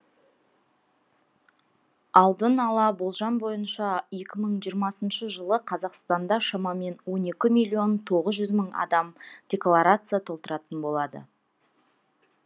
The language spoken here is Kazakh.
алдын ала болжам бойынша екі мың жиырмасыншы жылы қазақстанда шамамен он екі миллион тоғыз жүз мың адам декларация толтыратын болады